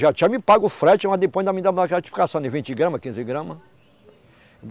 Já tinha me pago o frete, mas depois ainda me dava uma gratificação de vinte gramas, quinze gramas.